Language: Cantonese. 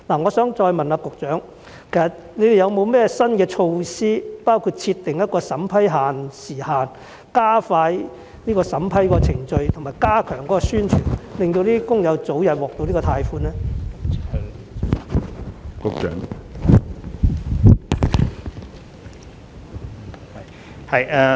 我想再次問局長有否新措施，包括設定一個審批時限，加快審批程序和加強宣傳，讓工友可以早日獲得貸款呢？